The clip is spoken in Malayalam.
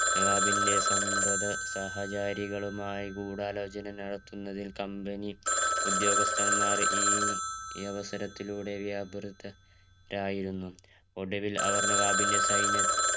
നവാബിന്റെ സന്ധത സഹചാരികളുമായി ഗൂഢാലോചന നടത്തുന്നതിൽ company ഉദ്യോഗസ്ഥന്മാൻ ഈ അവസാരിത്തുലൂടെ വ്യപുരാത